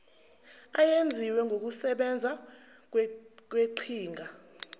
eyenziwe ngokusebenza kweqhinga